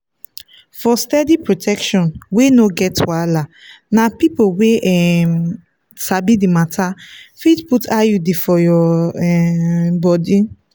for steady protection wey no get wahala na people wey um sabi the matter fit put iud for your um body.